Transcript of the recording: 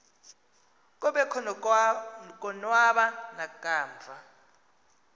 kobekho konwaba nakamva